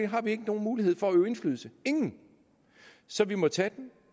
har vi ikke nogen mulighed for at øve indflydelse ingen så vi må tage den